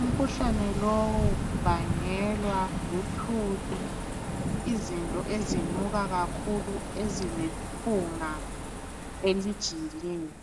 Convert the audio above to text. Umkhuhlane lowu ubangelwa luthuli, izinto ezinuka kakhulu ezilephunga elijiyileyo.